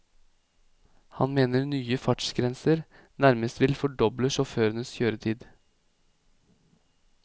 Han mener nye fartsgrenser nærmest vil fordoble sjåførenes kjøretid.